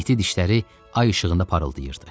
İti dişləri ay işığında parıldayırdı.